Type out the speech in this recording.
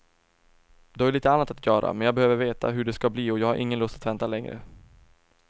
Du har ju lite annat att göra, men jag behöver veta hur det ska bli och jag har ingen lust att vänta längre.